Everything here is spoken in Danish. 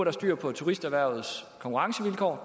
er styr på turisterhvervets konkurrencevilkår